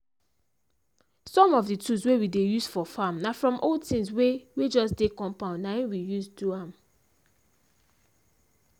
some of the tools wey we dey use for farm na from old things wey wey just dey compound na him we use do am.